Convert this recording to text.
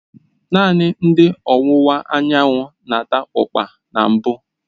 Naanị ndị ọwụwa anyanwụ na-ata ukpa na mbụ.